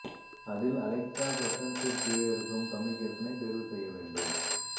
அதில் அலெக்சா ப்ரெஃப்ரென்ஸிற்கு கீழே இருக்கும் கம்யூனிகேசனை தேர்வு செய்ய வேண்டும்